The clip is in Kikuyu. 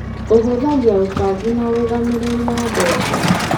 ũhũthagia ũbangi na ũrũgamĩrĩri wa mbeca.